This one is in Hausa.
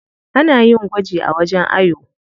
Ana yin gwaji a wajen ayo.